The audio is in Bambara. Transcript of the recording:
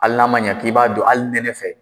Hali n'a ma ɲɛ k'i b'a don hali nɛnɛ fɛ